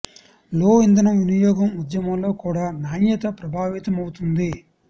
లో ఇంధన వినియోగం ఉద్యమంలో కూడా నాణ్యత ప్రభావితమవుతుంది